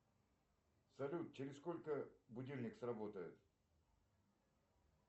салют через сколько будильник сработает